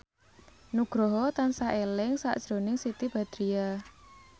Nugroho tansah eling sakjroning Siti Badriah